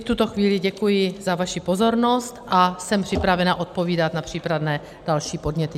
V tuto chvíli děkuji za vaši pozornost a jsem připravena odpovídat na případné další podněty.